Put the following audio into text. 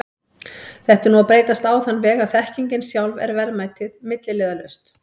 Þetta er nú að breytast á þann veg að þekkingin sjálf er verðmætið, milliliðalaust.